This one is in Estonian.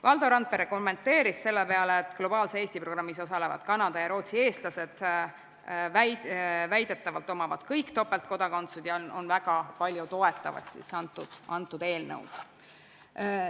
Valdo Randpere kommenteeris selle peale, et Globaalse Eesti programmis osalevad Kanada ja Rootsi eestlased väidetavalt omavad kõik topeltkodakondsust ja toetavad antud eelnõu väga.